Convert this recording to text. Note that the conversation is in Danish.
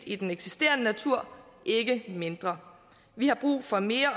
i den eksisterende natur ikke mindre vi har brug for mere